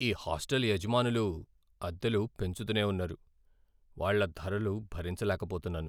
ఈ హాస్టల్ యజమానులు అద్దెలు పెంచుతూనే ఉన్నారు, వాళ్ళ ధరలు భరించలేకపోతున్నాను.